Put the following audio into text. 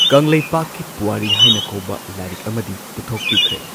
ꯀꯪꯂꯩꯄꯥꯛꯀꯤ ꯄꯨꯋꯥꯔꯤ ꯍꯥꯏꯅ ꯀꯧꯕ ꯂꯥꯏꯔꯤꯛ ꯑꯃꯗꯤ ꯄꯨꯊꯣꯛꯄꯤꯈ꯭ꯔꯦ꯫